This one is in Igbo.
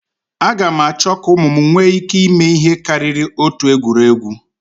Aga m achọ ka ụmụ m nwee ike ịme ihe karịrị otu egwuregwu